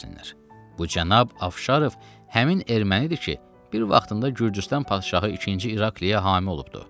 Bu cənab Afşarov həmin ermənidir ki, bir vaxtında Gürcüstan padşahı ikinci İrakliyə hami olubdu.